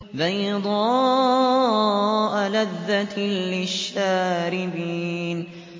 بَيْضَاءَ لَذَّةٍ لِّلشَّارِبِينَ